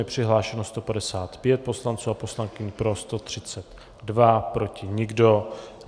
Je přihlášeno 155 poslanců a poslankyň, pro 132, proti nikdo.